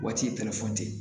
Waati